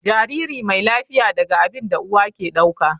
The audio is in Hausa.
Jariri mai lafiya daga abin da uwa ke dauka.